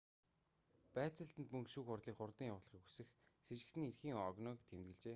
байцаалтанд мөн шүүх хурлыг хурдан явуулахыг хүсэх сэжигтэний эрхийн огноог тэмдэглэжээ